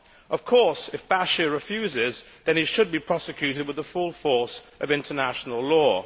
Of course, if Bashir refuses, then he should be prosecuted with the full force of international law.